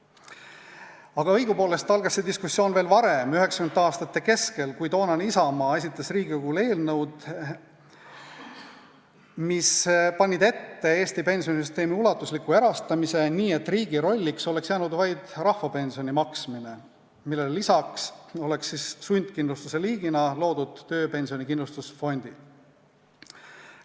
Aga õigupoolest algas see diskussioon veel varem, 1990. aastate keskel, kui toonane Isamaa esitas Riigikogule eelnõud, mis panid ette Eesti pensionisüsteemi ulatusliku erastamise, nii et riigi rolliks oleks jäänud vaid rahvapensioni maksmine, millele lisaks oleks sundkindlustuse liigina loodud tööpensionikindlustusfondid.